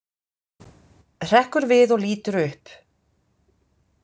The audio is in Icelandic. Hrekkur við og lítur upp.